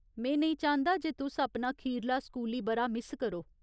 में नेईं चांह्दा जे तुस अपना खीरला स्कूली ब'रा मिस करो।